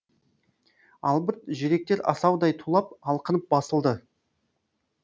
албырт жүректер асаудай тулап алқынып басылды